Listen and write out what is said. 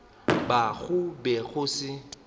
ba go be go se